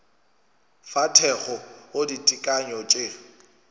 fa thekgo go ditekanyo tše